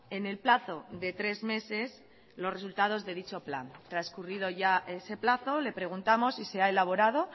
en el plazo de tres meses los resultados de dicho plan transcurrido ya ese plazo le preguntamos si se ha elaborado